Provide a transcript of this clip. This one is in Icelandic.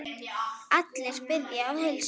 Allir biðja að heilsa.